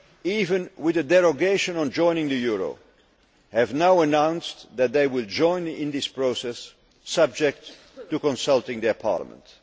even those with a derogation on joining the euro, have now announced that they will join in this process, subject to consulting their parliaments.